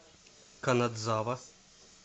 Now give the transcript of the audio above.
канадзава